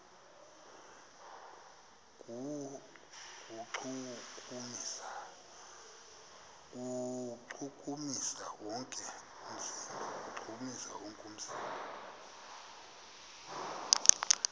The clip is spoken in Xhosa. kuwuchukumisa wonke umzimba